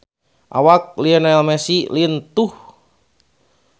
Awak Lionel Messi lintuh